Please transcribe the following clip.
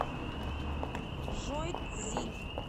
жуйцзинь